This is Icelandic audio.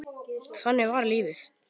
Þannig var lífið.